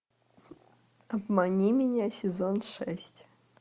обмани меня сезон шесть